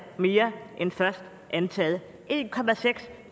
mere end først antaget en